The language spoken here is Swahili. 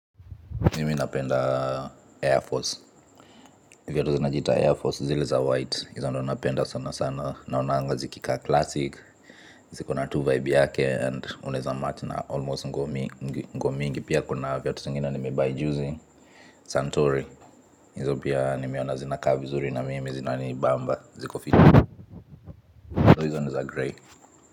Mimi napenda Air Force, viatu zinajiita Air Force zile za white, hizo ndo napenda sana sana, naonanga zikikaa classic, zikona tu vibe yake and unaeza match na, almost nguo mingi pia kuna viatu zingine nimebuy juzi, santori, hizo pia nimeona zinakaa vizuri na mimi zinani bamba, ziko fit, hizo ndo hizo niza grey.